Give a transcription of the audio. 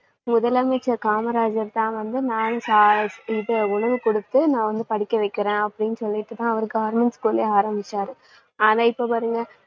முதலமைச்சர் காமராஜர் தான் வந்து நானு சா~ உணவு குடுத்து நான் வந்து படிக்கவைக்கறேன் அப்படின்னு சொல்லிட்டுதான் அவரு government school லே ஆரம்பிச்சாரு ஆனா இப்ப பாருங்க